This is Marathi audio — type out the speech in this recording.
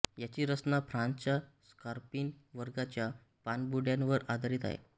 याची रचना फ्रांसच्या स्कॉर्पीन वर्गाच्या पाणबुड्यांवर आधारित आहे